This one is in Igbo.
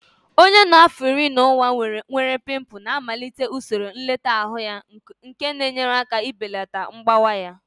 Onye nọ n'afọ iri na ụma nwere pimples na-amalite usoro nlekọta anụ ahụ nke na-enyere aka ibelata mgbawa ya